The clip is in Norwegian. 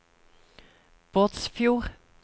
Båtsfjord